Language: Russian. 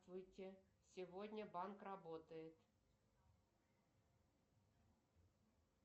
здравствуйте сегодня банк работает